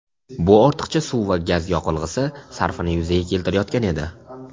Bu ortiqcha suv va gaz yoqilg‘isi sarfini yuzaga keltirayotgan edi.